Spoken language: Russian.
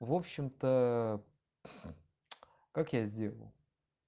в общем-то как я сделал